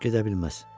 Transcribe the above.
Gedə bilməz.